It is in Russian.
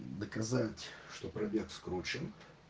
доказать что пробег скручен